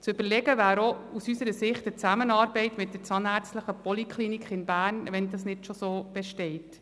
Zu überlegen wäre aus unserer Sicht auch eine Zusammenarbeit mit der Zahnärztlichen Poliklinik in Bern, wenn eine solche nicht schon besteht.